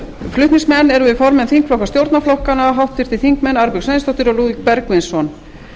flutningsmenn erum við formenn þingflokka stjórnarflokkanna háttvirtir þingmenn arnbjörg sveinsdóttir og lúðvík bergvinsson